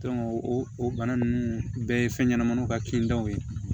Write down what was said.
o o bana ninnu bɛɛ ye fɛn ɲɛnɛmaninw ka kintaw ye